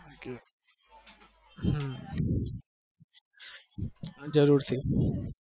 હા જરૂર થી હા